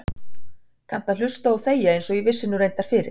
Kannt að hlusta og þegja einsog ég vissi nú reyndar fyrir.